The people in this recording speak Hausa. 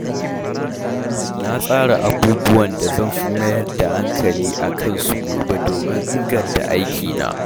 Na tsara abubuwan da zan fi mayar da hankali a kansu gobe domin inganta aikina.